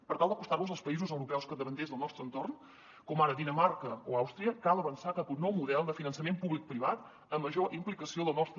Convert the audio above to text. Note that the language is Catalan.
per tal d’acostar nos als països europeus capdavanters del nostre entorn com ara dinamarca o àustria cal avançar cap a un nou model de finançament publicoprivat amb major implicació del nostre